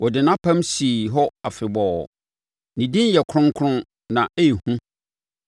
Ɔde ɔgyeɛ maa ne nkurɔfoɔ; ɔde nʼapam sii hɔ afebɔɔ, ne din yɛ kronkron na ɛyɛ hu.